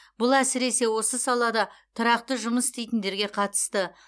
бұл әсіресе осы салада тұрақты жұмыс істейтіндерге қатысты